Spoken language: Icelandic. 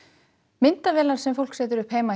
myndavélar sem fólk setur upp heima